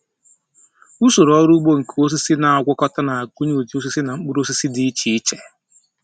Usoro ọrụ ugbo nke osisi na-agwakọta na-agụnye ụdị osisi na mkpụrụ osisi dị iche iche.